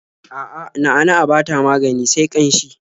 A'a, na'a-na'a ba ta magani sai ƙanshi.